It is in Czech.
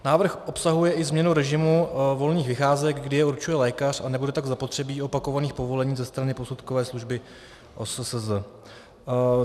Návrh obsahuje i změnu režimu volných vycházek, kdy je určuje lékař, a nebude tak zapotřebí opakovaných povolení ze strany posudkové služby OSSZ.